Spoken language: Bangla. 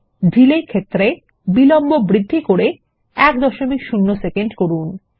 ডিলে ক্ষেত্রে বিলম্ব বৃদ্ধি 10 সেকেন্ড করুন